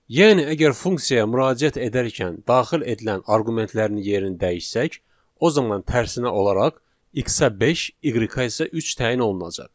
Yəni əgər funksiyaya müraciət edərkən daxil edilən arqumentlərin yerini dəyişsək, o zaman tərsinə olaraq x-a beş, y-ə isə üç təyin olunacaq.